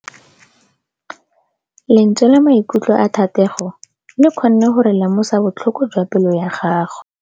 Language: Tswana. Lentswe la maikutlo a Thategô le kgonne gore re lemosa botlhoko jwa pelô ya gagwe.